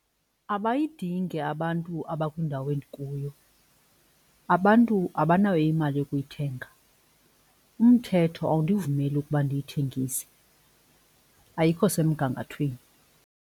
Abayidingi abantu abakwindawo endikuyo, abantu abanayo imali yokuyithenga, umthetho awundivumeli ukuba ndiyithengise, ayikho semgangathweni.